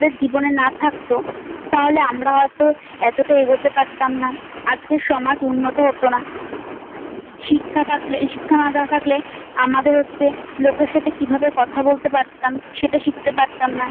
জীবনে না থাকত তাহলে আমরা হয়তো এতটা এগোতে পারতাম না। আজকের সমাজ উন্নত হত না। শিক্ষা থাকলে শিক্ষা না থাকলে আমাদের হচ্ছে লোকের সাথে কিভাবে কথা বলতে পারতাম সেটা শিখতে পারতাম না।